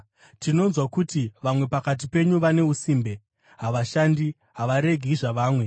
Tinonzwa kuti vamwe pakati penyu vane usimbe. Havashandi; havaregi zvavamwe.